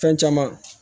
Fɛn caman